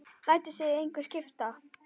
Lætur sig það engu skipta.